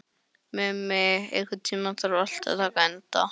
Mummi, einhvern tímann þarf allt að taka enda.